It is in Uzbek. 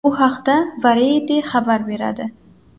Bu haqda Variety xabar beradi .